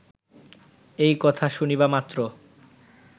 এই কথা শুনিবা মাত্র